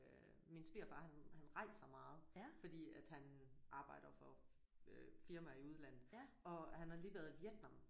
Øh min svigerfar han han rejser meget fordi at han arbejder for øh firmaer i udlandet og han har lige været i Vietnam